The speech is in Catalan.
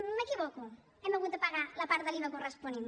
m’equivoco hem hagut de pagar la part de l’iva corresponent